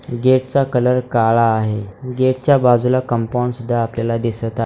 Gate चा colour काळा आहे गेट च्या बाजूला कंपाउंड सुद्धा आपल्याला दिसत आहे.